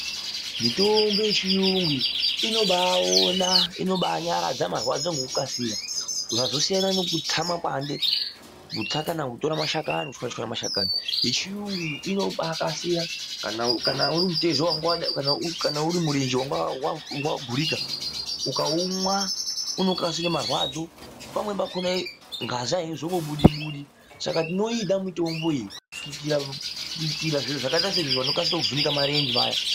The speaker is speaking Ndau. Mitombo yechiyungu iyi inobaaona inobaanyaradza marwadzo ngekukasira zvazosiyane nekutsa makwande ,kutsa kana kutora kuchwanyachwanya mashakani yechiyungu iyi inobakasira kana urimutezo, kana urimurenje wanga wagurika ukaumwa unokasira marwadzo pamweni pachona ngazi aizombobudi budi saka tinoida mitombo iyi kuitira zviro zvakaita saizvozvo vanokasire kuvhunike marenje vaya.